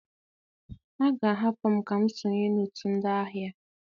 A ga-ahapụ m ka m sonye na otu ndị ahịa?